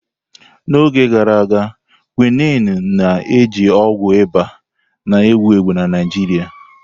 N'oge gara aga, Quinine na-eji ọgwụ ịba na-ewu ewu na Naịjirịa.